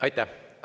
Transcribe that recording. Aitäh!